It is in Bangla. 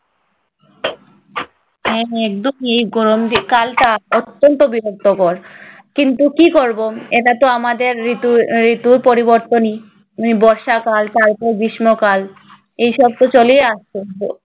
হ্যাঁ হ্যাঁ, একদম। এই যে গরম যে কালটা অত্যন্ত বিরক্তকর। কিন্তু কি করবো? এটাতো আমাদের ঋতু~ ঋতুর পরিবর্তনই। মানে বর্ষাকাল তারপর গ্রীষ্মকাল। এসবতো চলেই আসছে